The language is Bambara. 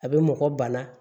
A bɛ mɔgɔ bana